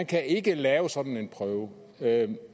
kan lave sådan en prøve